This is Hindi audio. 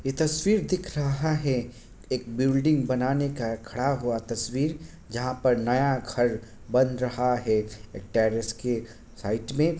ये तस्वीर दिख रहा है एक बिल्डिंग बनाने का खड़ा हुआ तस्वीर जहाँ पर नया घर बन रहा है एक टेरेस के साइट में।